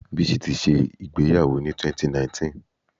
Bísí ti ṣẹ ìgbéyàwó ni 2019.